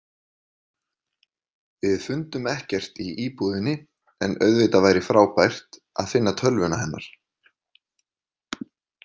Við fundum ekkert í íbúðinni en auðvitað væri frábært að finna tölvuna hennar.